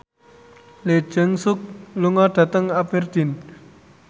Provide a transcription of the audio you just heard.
Lee Jeong Suk lunga dhateng Aberdeen